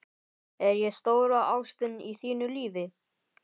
Er ég stóra ástin í þínu lífi?